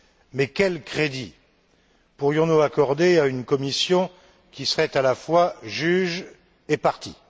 Mais quel crédit pourrions nous accorder à une commission qui serait à la fois juge et partie.